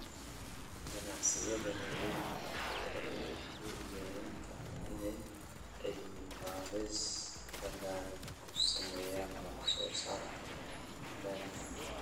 Ganacsiyada waaweyni waxay awood u yeelan karaan inay cilmi-baadhis ballaadhan ku sameeyaan wax-soo-saarka dalagga.